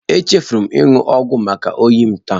Echefuru m ịnụ ọgwụ maka oyi m taa